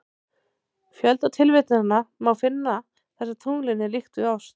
Fjölda tilvitnana má finna þar sem tunglinu er líkt við ost.